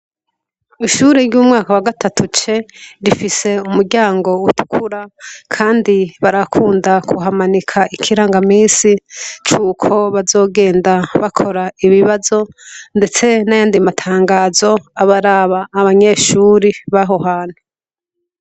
Ishure ry'umwaka wa gatatu C, rifise umuryango utukura kandi barakunda kuhamanika ikirangamisi cuko bazogenda bakora ibibazo ndetse n'ayandi matangazo abaraba, abanyeshure b'aho hantu.